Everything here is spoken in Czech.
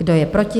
Kdo je proti?